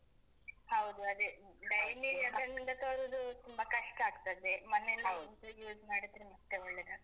ಹೌದು ಅದೇ. daily ಅಂಗಡಿಯಿಂದ ತರುದು ತುಂಬ ಕಷ್ಟ ಆಗ್ತದೆ. ಮನೆಯಲ್ಲೇ ಬೆಳ್ಸಿ use ಮಾಡಿದ್ರೆ ಮತ್ತೆ ಒಳ್ಳೇದಾಗ್ತದೆ.